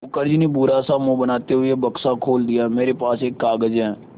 मुखर्जी ने बुरा सा मुँह बनाते हुए बक्सा खोला मेरे पास एक कागज़ है